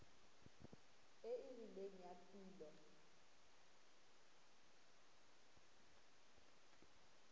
e e rileng ya tulo